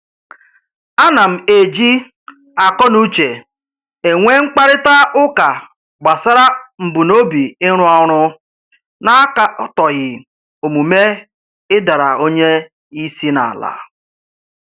Ana m eji akọnuche enwe mkparịta ụka gbasara mbunobi ịrụ ọrụ na-akatọghị omume ịdara onye isi n'ala